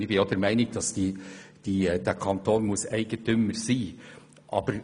Ich bin auch der Meinung, dass dieser Kanton der Eigentümer sein muss.